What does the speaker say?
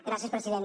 gràcies president